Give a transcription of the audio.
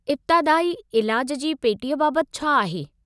इब्तादाई इलाज जी पेटीअ बाबति छा आहे?